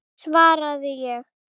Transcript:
svaraði ég.